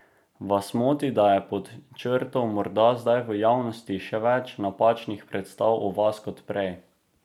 Vas moti, da je pod črto morda zdaj v javnosti še več napačnih predstav o vas kot prej?